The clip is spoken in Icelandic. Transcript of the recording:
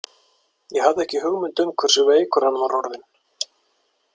Ég hafði ekki hugmynd um hversu veikur hann var orðinn.